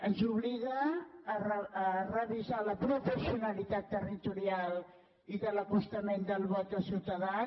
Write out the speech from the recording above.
ens obliga a revisar la proporcionalitat territorial i de l’acostament del vot dels ciutadans